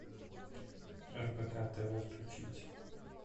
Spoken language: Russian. рбк тв включить